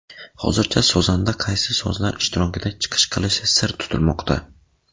Hozircha sozanda qaysi sozlar ishtirokida chiqish qilishi sir tutilmoqda.